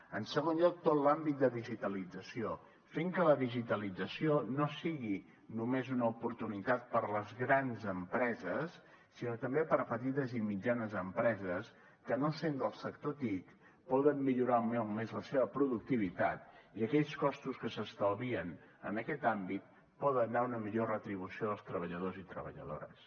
en segon lloc tot l’àmbit de digitalització fer que la digitalització no sigui només una oportunitat per a les grans empreses sinó també per a petites i mitjanes empreses que no sent del sector tic poden millorar molt més la seva productivitat i aquells costos que s’estalvien en aquest àmbit poden anar a una millor retribució dels treballadors i treballadores